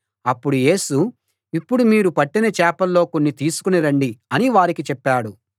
అప్పుడు యేసు ఇప్పుడు మీరు పట్టిన చేపల్లో కొన్ని తీసుకుని రండి అని వారికి చెప్పాడు